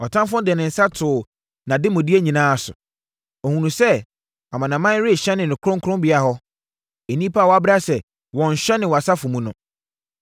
Ɔtamfoɔ no de ne nsa too nʼademudeɛ nyinaa so; ɔhunuu sɛ amanaman rehyɛne ne kronkronbea hɔ, nnipa a woabra sɛ wɔnnhyɛne wʼasafo mu no.